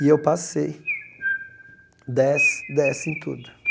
E eu passei dez, dez em tudo.